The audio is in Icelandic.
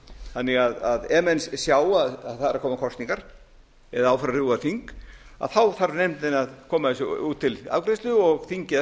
þannig að ef menn sjá að það eru að koma kosningar eða á að fara að rjúfa þing þarf nefndin að koma þessu út til afgreiðslu og þingið að